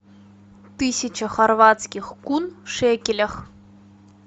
тысяча хорватских кун в шекелях